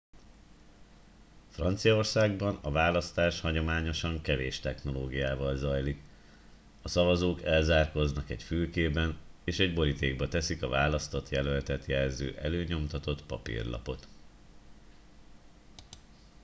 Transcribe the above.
franciaországban a választás hagyományosan kevés technológiával zajlik a szavazók elzárkóznak egy fülkében és egy borítékba teszik a választott jelöltet jelző előnyomtatott papírlapot